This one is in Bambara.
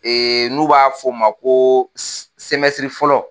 n'u b'a f'o ma ko sɛmɛsiri fɔlɔ.